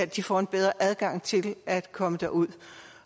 de får en bedre adgang til at komme derud